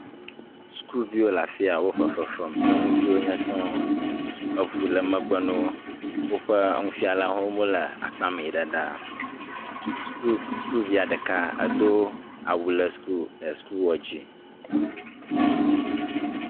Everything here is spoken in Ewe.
Sukuviwo le afi ya. Wo fefe fem. Nyɔnuviwo wonye sɔŋ. Eŋu le megbe na wo. Woƒe nufialawo hã wole akpamɛ ɖa ɖaa. Suku, sukuviɛ ɖeka edo awu le suku, ɛɛ sukuwuɔ dzi.